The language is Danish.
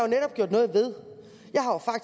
netop gjort noget ved